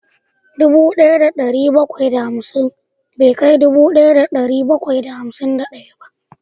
Dubu daya da dari bakwai da hamsin bai kai dubu daya da dari bakwai da hamsin da daya ba